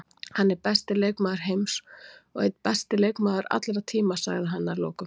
Hann er besti leikmaður heims og einn besti leikmaður allra tíma, sagði hann að lokum.